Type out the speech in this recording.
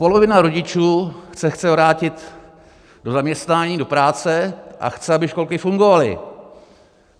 Polovina rodičů se chce vrátit do zaměstnání, do práce a chce, aby školky fungovaly.